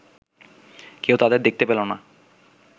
কেউ তাদের দেখতে পেল না